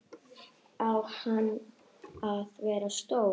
Á hann að vera stór?